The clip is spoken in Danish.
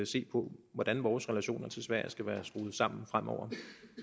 se på hvordan vores relationer til sverige skal være skruet sammen fremover